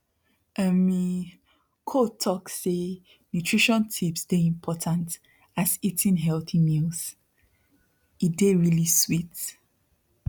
ummy coah talk say nutrition tips dey important as eating healthy mealse dey really sweet